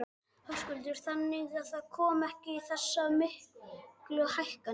Höskuldur: Þannig að það komi ekki þessar miklu hækkanir?